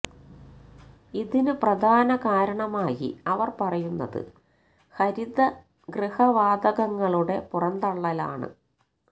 ഇതിന് പ്രധാന കാരണമായി അവർ പറയുന്നത് ഹരിത ഗൃഹ വാതകങ്ങളുടെ പുറന്തള്ളലാണ്